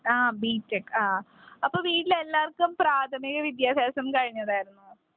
ആ B. Tech ആ അല്ലേ അപ്പൊ വീട്ടിൽ എല്ലാവർക്കും പ്രാഥമിക വിദ്യാഭ്യാസം കഴിഞ്ഞതായിരുന്നോ .